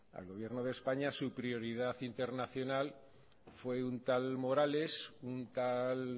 al gobierno de españa su prioridad internacional fue un tal morales un tal